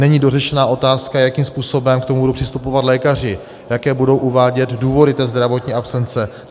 Není dořešena otázka, jakým způsobem k tomu budou přistupovat lékaři, jaké budou uvádět důvody té zdravotní absence.